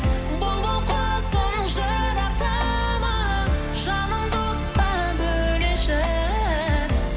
бұлбұл құсым жырақтама жанымды отқа бөлеші